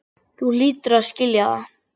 Þú hlýtur að skilja það.